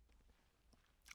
DR2